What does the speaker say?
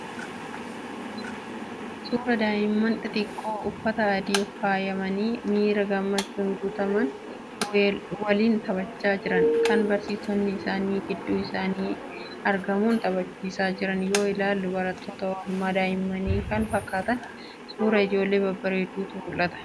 Suuraa daa'imman xixiqqoo uffata adiin faayamanii miira gammachuun guutameen waliin taphachaa jiran, kan barsiisonni isaanii gidduu isaaniitti argamuun taphachiisaa jiran yoo ilaalan barattoota oolmaa daa'immanii kan fakkaatan, suuraa ijoollee babbareeduutu mul'ata.